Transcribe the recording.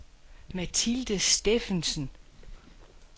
Mathilde Stephansen